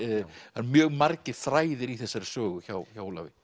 það eru mjög margir þræðir í þessari sögu hjá hjá Ólafi